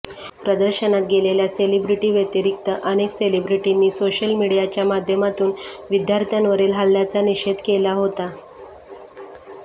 प्रदर्शनात गेलेल्या सेलिब्रिटी व्यतिरिक्त अनेक सेलिब्रिटींनी सोशल मीडियाच्या माध्यमातून विद्यार्थ्यांवरील हल्ल्याचा निषेध केला होता